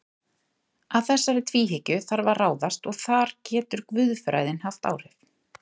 Að þessari tvíhyggju þarf að ráðast og þar getur guðfræðin haft áhrif.